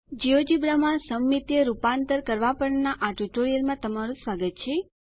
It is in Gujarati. જિયોજેબ્રા માં સમમિતીય રૂપાંતર કરવા પરના આ ટ્યુટોરીયલમાં તમારું સ્વાગત છે